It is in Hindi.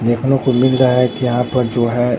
देखने को मिल रहा है कि यहां पर जो है।